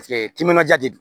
timinanja de don